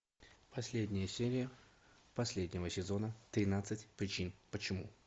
последняя серия последнего сезона тринадцать причин почему